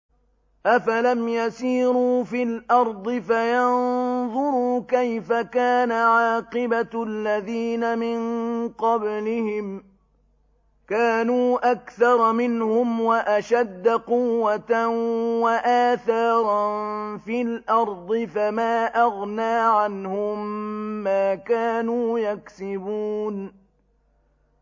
أَفَلَمْ يَسِيرُوا فِي الْأَرْضِ فَيَنظُرُوا كَيْفَ كَانَ عَاقِبَةُ الَّذِينَ مِن قَبْلِهِمْ ۚ كَانُوا أَكْثَرَ مِنْهُمْ وَأَشَدَّ قُوَّةً وَآثَارًا فِي الْأَرْضِ فَمَا أَغْنَىٰ عَنْهُم مَّا كَانُوا يَكْسِبُونَ